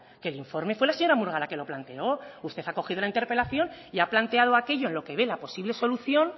que el informe fue la señora murga la que lo planteó usted ha cogido la interpelación y ha planteado aquello en lo que ve la posible solución